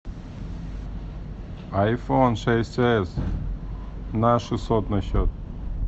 айфон шесть эс на шестьсот на счет